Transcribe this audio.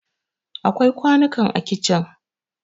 akwai kwanunka a kicin